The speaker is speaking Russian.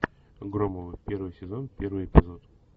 громовы первый сезон первый эпизод